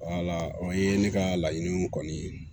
o ye ne ka laɲini kɔni ye